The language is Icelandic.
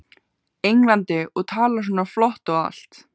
Englandi og talar svona flott og allt.